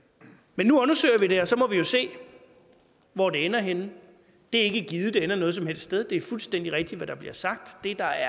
men nu undersøger vi det og så må vi jo se hvor det ender henne det er ikke givet at det ender noget som helst sted det er fuldstændig rigtigt hvad der bliver sagt det der